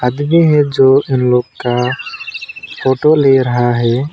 आदरणीय है जो इन लोग का फोटो ले रहा है।